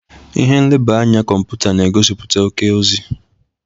Ihe nleba anya kọmputa na-egosiputa oke ozi.